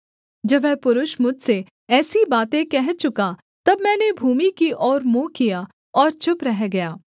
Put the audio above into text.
जब वह पुरुष मुझसे ऐसी बातें कह चुका तब मैंने भूमि की ओर मुँह किया और चुप रह गया